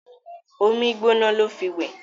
omí gbóná ló fí wẹ